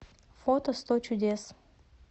фото сто чудес